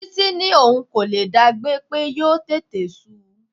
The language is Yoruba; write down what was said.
Titi ní òun kò lè dá gbé, pé yóò tètè su.